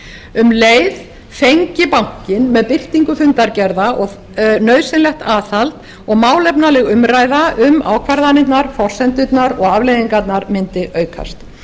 um leið fengi bankinn með birtingu fundargerða nauðsynlegt aðhald og málefnaleg umræða um ákvarðanirnar forsendurnar og afleiðingarnar mundi aukast